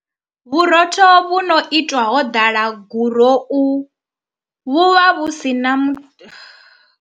Vhurotho vhu no itwa ho ḓala gurou vhu vha vhu si na mu.